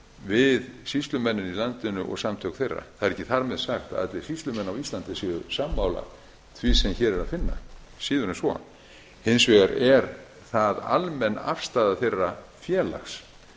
við sýslumennina í landinu og samtök þeirra það er ekki þar með sagt að allir sýslumenn á íslandi séu sammála því sem hér er að finna síður en svo hins vegar er það almenn afstaða þeirra félags